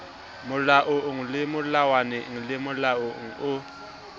molaong melawaneng le molaong o